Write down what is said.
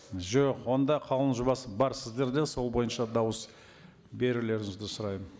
жоқ онда қаулының жобасы бар сіздерде сол бойынша дауыс берулеріңізді сұраймын